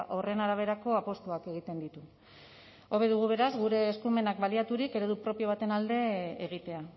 horren araberako apustuak egiten ditu hobe dugu beraz gure eskumenak baliaturik eredu propio baten alde egitea